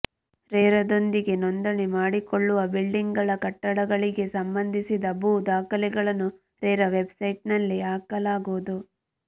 ರೇರಾದೊಂದಿಗೆ ನೋಂದಣಿ ಮಾಡಿಕೊಳ್ಳುವ ಬಿಲ್ಡರ್ಗಳ ಕಟ್ಟಡಗಳಿಗೆ ಸಂಬಂಧಿಸಿದ ಭೂ ದಾಖಲೆಗಳನ್ನು ರೇರಾ ವೆಬ್ಸೈಟ್ನಲ್ಲಿ ಹಾಕಲಾಗುವುದು